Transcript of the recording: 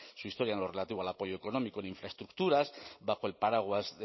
su historia en lo relativo al apoyo económico e infraestructuras bajo el paraguas